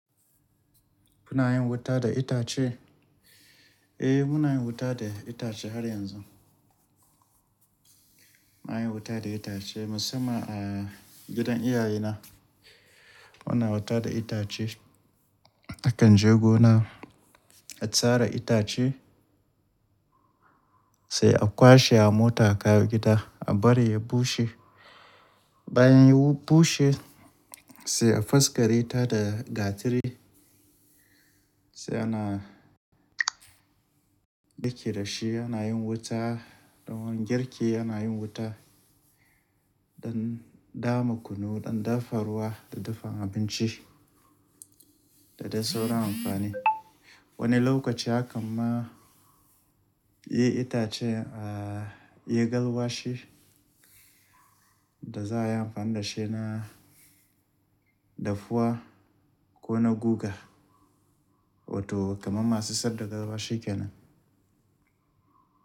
Kuna yin wuta da itace? Eh, muna yin wuta da itace har yanzu. Mu na yin wuta da itace musamman a gidan iyaye na muna wuta da itace. A kan jego na a tsara itace sai a kwashe a mota kawo gida a bari ya bushe. Bayan ya bushe sai a faskare ta da gatari sai ana girki da shi ana yin wuta don girki, ana yin wuta don dama kunu, don dafa ruwa da dafan abinci da dai sauran amfani. Wani lokaci hakan ma yi itacen a yi galwashi da za a yi amfani da shi na dafuwa ko na guga wato kamar masu sadaka galwashi kenan.